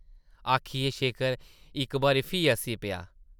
आखियै शेखर इक बारी फ्ही हस्सी पेआ ।